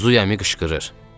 Zuy əmi qışqırır.